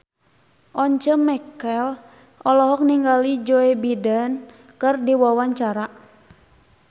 Once Mekel olohok ningali Joe Biden keur diwawancara